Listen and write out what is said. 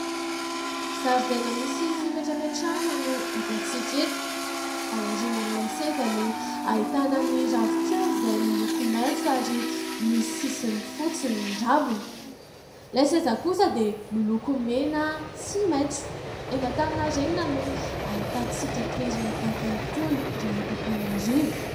Zaridaina misy fipetrapetrahana no hitantsika eto. Ao aorinan'ilay seza no ahitana ny ravinkazo izay miloko maitso ary misy sisiny fotsy ny raviny. Ilay seza kosa dia miloko mena sy maitso. Eny Antaninarenina no ahitantsika toerana tahaka itony raha eto Antananarivo.